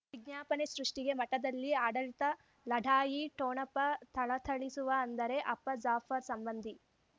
ವಿಜ್ಞಾಪನೆ ಸೃಷ್ಟಿಗೆ ಮಠದಲ್ಲಿ ಆಡಳಿತ ಲಢಾಯಿ ಠೊಣಪ ಥಳಥಳಿಸುವ ಅಂದರೆ ಅಪ್ಪ ಜಾಫರ್ ಸಂಬಂಧಿ